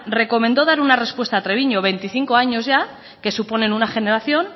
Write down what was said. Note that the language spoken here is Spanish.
recomendó dar una respuesta a treviño veinticinco años ya que suponen una generación